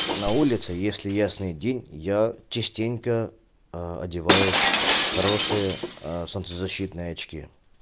на улице если ясный день я частенько одеваю хорошие солнцезащитные очки